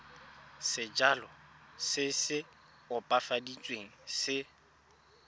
sejalo se se opafaditsweng se